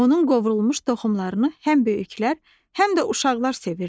Onun qovrulmuş toxumlarını həm böyüklər, həm də uşaqlar sevirlər.